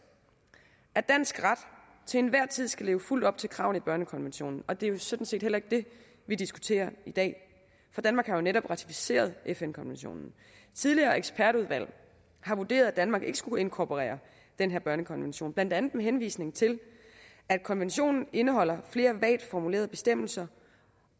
at dansk ret til enhver tid skal leve fuldt op til kravene i børnekonventionen og det er jo sådan set heller ikke det vi diskuterer i dag for danmark har jo netop ratificeret fn konventionen tidligere ekspertudvalg har vurderet at danmark ikke skulle inkorporere den her børnekonvention blandt andet med henvisning til at konventionen indeholder flere vagt formulerede bestemmelser